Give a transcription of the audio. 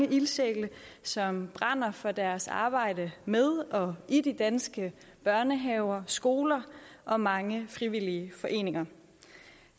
ildsjæle som brænder for deres arbejde med og i de danske børnehaver skoler og mange frivillige foreninger